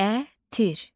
Ətir.